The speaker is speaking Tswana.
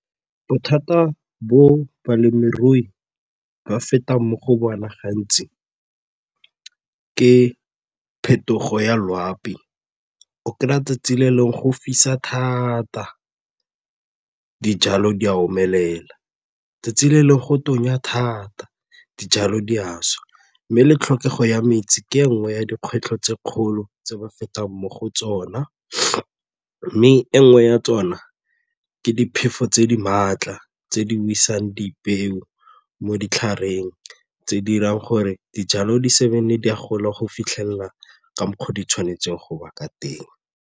Bothata bo balemirui ba fetang mo go bona gantsi ke phetogo ya loapi, o kry-a 'tsatsi le lengwe go fisa thata dijalo di a omelela, letsatsi le lengwe go tonya thata dijalo di a swa mme le tlhokego ya metsi ke e nngwe ya dikgwetlho tse kgolo tse ba fetang mo go tsona mme e nngwe ya tsona ke diphefo tse di maatla tse di wisang dipeo mo ditlhareng tse di 'irang gore dijalo di di a gola go fitlhelela ka mokgwa o di tshwanetse go ba ka teng.